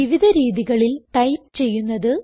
വിവിധ രീതികളിൽ ടൈപ്പ് ചെയുന്നത്